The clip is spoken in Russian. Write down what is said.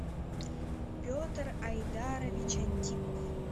петр айдарович антипов